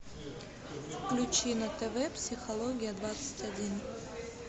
включи на тв психология двадцать один